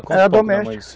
Era doméstica.